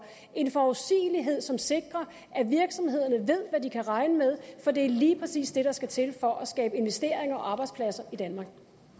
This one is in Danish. en forudsigelighed som sikrer at virksomhederne ved hvad de kan regne med for det er lige præcis det der skal til for at skabe investeringer og arbejdspladser i danmark